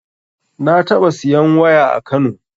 Na taɓa siyan waya a kano